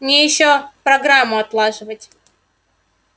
мне ещё программу отлаживать